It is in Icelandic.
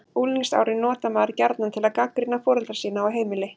Unglingsárin notar maður gjarnan til að gagnrýna foreldra sína og heimili.